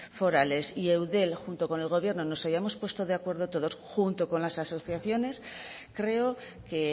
forales y eudel junto con el gobierno nos hayamos puesto de acuerdo todos junto con las asociaciones creo que